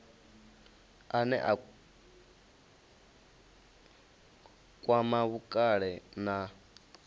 ane a kwama vhukale na